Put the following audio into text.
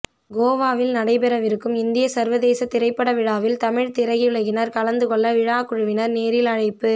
கோவாவில் நடைபெறவிருக்கும் இந்திய சர்வதேச திரைப்பட விழாவில் தமிழ் திரையுலகினர் கலந்துக் கொள்ள விழா குழுவினர் நேரில் அழைப்பு